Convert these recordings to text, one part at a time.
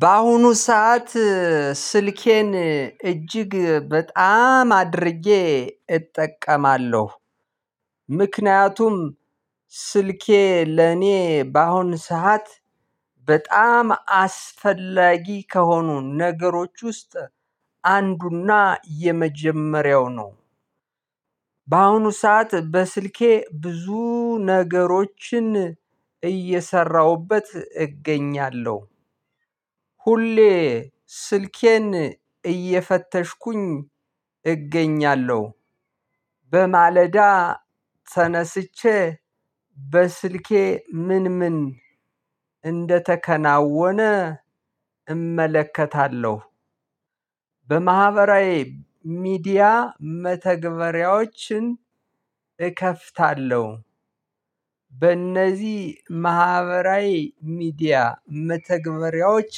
በአሁኑ ሰዓት ስልኬን እጅግ በጣም አድርጌ እጠቀማለሁ ምክንያቱም ስልኬ ለኔ በአሁን ሰዓት በጣም አስፈላጊ ከሆኑ ነገሮች ውስጥ አንዱና የመጀመሪያው ነው። በአሁኑ ሰዓት በስልኬ ብዙ ነገሮችን እየሰራሁበት እገኛለሁ። ሁሌ ስልኬን እየፈተሽኩኝ እገኛለሁ። በማለዳ ተነስቼ በስልኬ ምን ምን እንደተከናወነ እመለከታለሁ። በማህበራዊ ሚዲያ መተግበሪያዎችን እከፍታለሁ። በእነዚህ ማህበራዊ ሚዲያ መተግበሪያዎች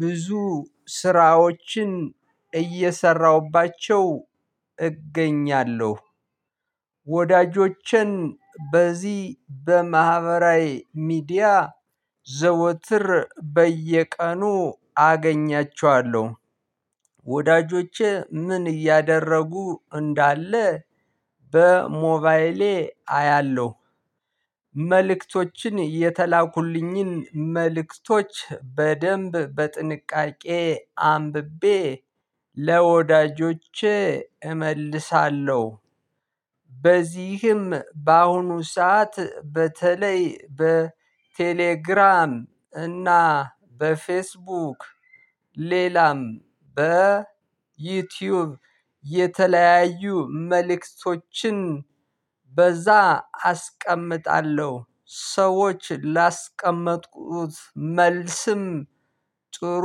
ብዙ ስራዎችን እየሰራሁባቸው እገኛለሁ። ወዳጆቼን በዚህ በማህበራዊ ሚዲያ ዘወትር በየቀኑ አገኛቸዋለሁ። ወዳጆቼ ምን እያደረጉ እንዳለ በሞባይሌ አያለሁ። መልእክቶችን የተላኩልኝን መልእክቶች በደንብ በጥንቃቄ አንብቤ ለወዳጆቼ እመልሳለሁ። በዚህም በአሁኑ ሰዓት በተለይ በቴሌግራም እና በፌስቡክ ሌላም በዩቲዩብ የተለያዩ መልእክቶችን በዛ አስቀምጣለሁ ሰዎች ላስቀመጥኩት መልስም ጥሩ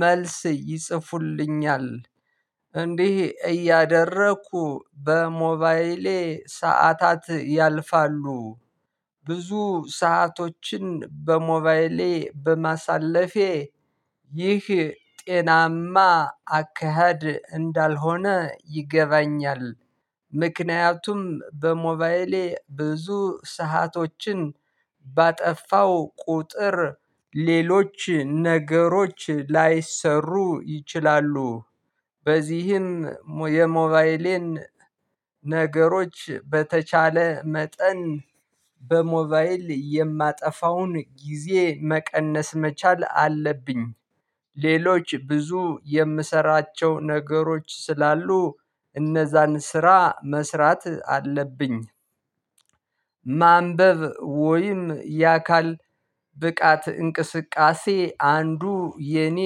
መልስ ይጽፉልኛል። እንዲህ እያደረኩ በሞባይሌ ሰዓታት ያልፋሉ። ብዙ ሰአቶችን በሞባይሌ በማሳለፌ ይህ ጤናማ አካሄድ እንዳልሆነ ይገባኛል። ምክንያቱም በሞባይሌ ብዙ ሰአቶችን ባጠፋው ቁጥር ሌሎች ነገሮች ላይሰሩ ይችላሉ። በዚህም የሞባይሌን ነገሮች በተቻለ መጠን በሞባይል የማጠፋውን ጊዜ መቀነስ መቻል አለብኝ። ሌሎች ብዙ የምሰራቸው ነገሮች ስላሉ እነዛን ስራ መስራት አለብኝ። ማንበብ ወይም የአካል ብቃት እንቅስቃሴ አንዱ የኔ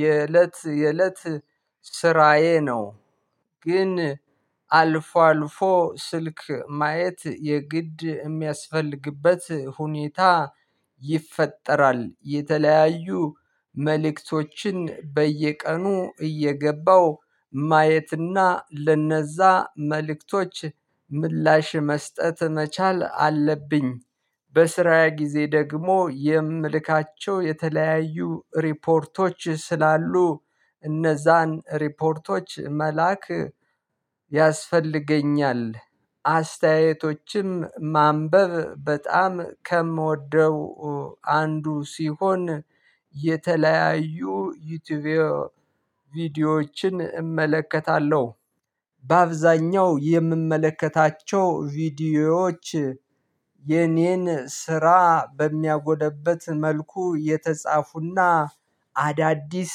የእለት የእለት ስራዬ ነው። ግን አልፎ አልፎ ስልክ ማየት የግድ የሚያስፈልግበት ሁኔታ ይፈጠራል የተለያዩ መልእክቶችን በየቀኑ እየገባው ማየትና ለነዛ መልእክቶች ምላሽ መስጠት መቻል አለብኝ። በስራዬ ጊዜ ደግሞ የምልካቸው የተለያዩ ሪፖርቶች ስላሉ እነዛን ሪፖርቶች መልአክ ያስፈልገኛል። አስተያየቶችም ማንበብ በጣም ከምወደው አንዱ ሲሆን የተለያዩ ዩቲዩብ ቪዲዮዎችን እመለከታለሁ። በአብዛኛው የምመለከታቸው ቪዲዮዎች የኔን ስራ በሚያጎለብት መልኩ የተጻፉና አዳዲስ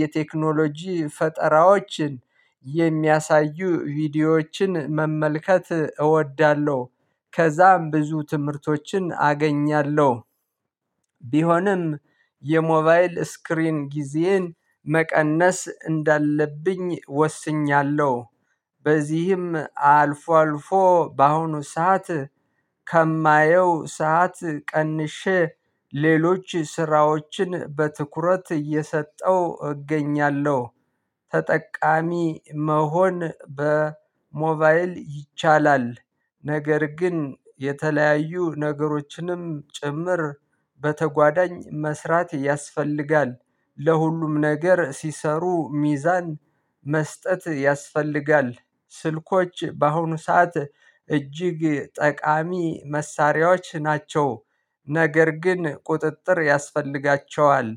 የቴክኖሎጂ ፈጠራዎችን የሚያሳዩ ቪዲዮዎችን መመልከት እወዳለሁ። ከዛም ብዙ ትምህርቶችን አገኛለሁ። ቢሆንም የሞባይል ስክሪን ጊዜየን መቀነስ እንዳለብኝ ወስኛለሁ። በዚህም አልፎ አልፎ በአሁኑ ሰዓት ከማየው ሰዓት ቀንሼ ሌሎች ስራዎችን በትኩረት እየሰጠው እገኛለሁ። ተጠቃሚ መሆን በሞባይል ይቻላል። ነገር ግን የተለያዩ ነገሮችንም ጭምር በተጓዳኝ መስራት ያስፈልጋል። ለሁሉም ነገር ሲሰሩ ሚዛን መስጠት ያስፈልጋል። ስልኮች በአሁኑ ሰዓት እጅግ ጠቃሚ መሳሪያዎች ናቸው። ነገር ግን ቁጥጥር ያስፈልጋቸዋል።